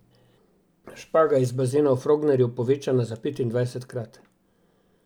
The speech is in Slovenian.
Špaga iz bazena v Frognerju, povečana za petindvajsetkrat.